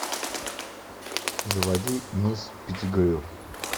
заводи мисс петтигрю